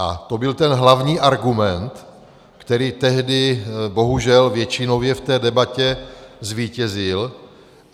A to byl ten hlavní argument, který tehdy bohužel většinově v té debatě zvítězil.